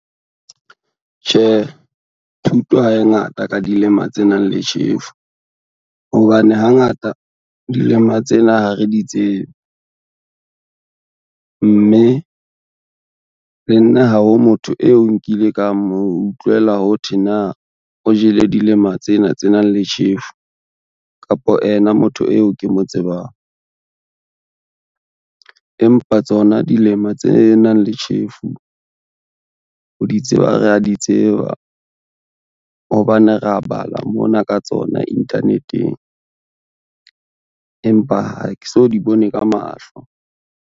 Tjhe, thuto ha e ngata ka dilema tse nang le tjhefu, hobane hangata dilema tsena ha re di tsebe. Mme le nna ha ho motho eo nkile ka moutlwela ho thwe na o jele dilema tsena tse nang le tjhefu, kapo ena motho eo ke mo tsebang. Empa tsona dilema tse nang le tjhefu ho di tseba ra di tseba hobane re a bala mona ka tsona internet-eng, empa ha ke so di bone ka mahlo.